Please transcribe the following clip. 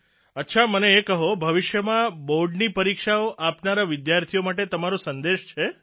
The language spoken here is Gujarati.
અચ્છા મને એ કહો કે ભવિષ્યમાં બોર્ડની પરીક્ષાઓ આપનારા વિદ્યાર્થીઓ માટે તમારો સંદેશ છે